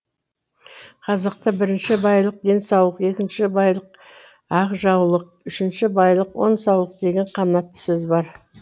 қазақта бірінші байлық денсаулық екінші байлық ақ жаулық үшінші байлық он саулық деген қанатты сөз бар